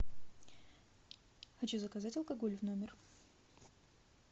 хочу заказать алкоголь в номер